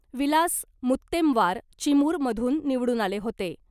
विलास मुत्तेमवार चिमूरमधून निवडून आले होते .